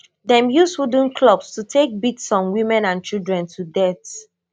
dem use wooden clubs to take beat some women and children to death